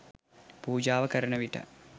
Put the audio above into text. පූජාව කරන විට